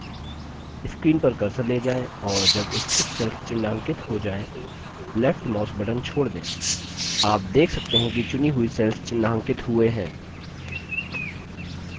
screen पर cursor ले जाएँ और जब इच्छित cells चिन्हांकित you जाएँ left mouse button छोड़ दें आप देखते हैं कि चुनी हुई cells चिन्हांकित हुए हैं